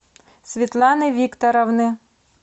светланы викторовны